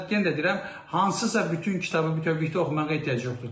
Yenə də deyirəm, hansısa bütün kitabı bütövlükdə oxumağa ehtiyac yoxdur.